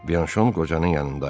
Bianşon qocanın yanında idi.